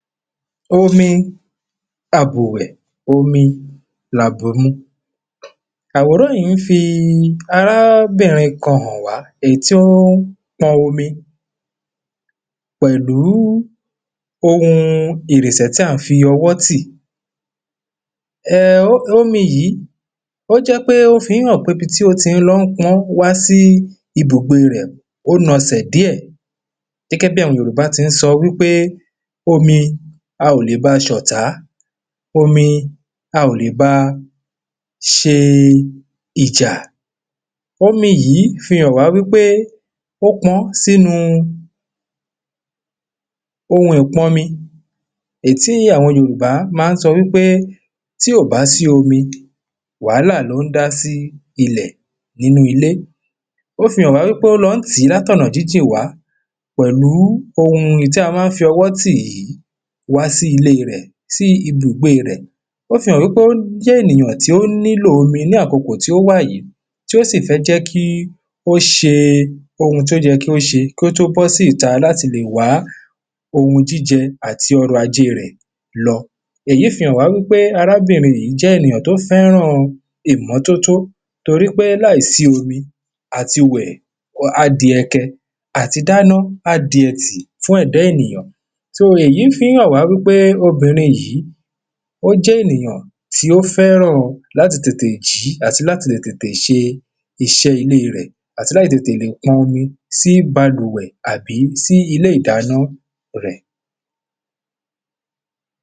Omi àbùwẹ̀ omi ni àbùmu Àwòrán yìí ń fi arábìnrin kan hàn wá èyí tí ó ń pọn omi pẹ̀lú oun ìrinsẹ̀ tí à ń fi ọwọ́ tì um omi yìí ó jẹ́ pé ó fi ń hàn pé ibi tí o ti ń lọ pọn wá sí ibùgbé rẹ̀ ó nasẹ̀ díẹ̀ Gẹ́gẹ́ bí àwọn Yorùbá ti ń sọ wípé omi a ò lè báa ṣe ọ̀tá omi a ò lè ba ṣe ìjà Omi yìí fi hàn wá wípé ó pọ́n sínú oun ìpọnmi èyí tí àwọn Yorùbá ma ń sọ wípé tí ò bá sí omi wàhálà ni ó n dá sí ilẹ̀ nínú ilé Ó fi hàn wá wípé ó lọ ń tì í láti ọ̀nà jíjìn wá pẹ̀lú oun tí a ma ń fi ọwọ́ tì yìí wá sí ilé rẹ̀ sí ibùgbé rẹ̀ Ó fi hàn wípé ó jẹ́ ènìyàn tí ó nílò omi ní àkókò tí ó wá yìí tí ó sì fẹ́ jẹ́ kí ó ṣe oun tí ó yẹ kí ó ṣe kí ó tọ́ bọ́ sí ìta láti lè wá oun jíjẹ àti ọrọ̀ajé rẹ̀ lọ Èyí fi hàn wá wípé arábìnrin yìí jẹ́ ènìyàn tí ó fẹ́ran ìmọ́tótó Torí pé láìsí omi àti wẹ̀ a di ẹ kẹ àti dáná á di ẹtì fún ẹ̀dá ènìyàn So èyí fi ń hàn wá wípé obìnrin yìí ó jẹ́ ènìyàn tí o fẹ́ràn láti tètè jí àti láti lè tètè ṣe iṣẹ́ ilé rẹ̀ Àti láti lè tètè lè pọn sí balùwẹ̀ àbí sí ilé ìdáná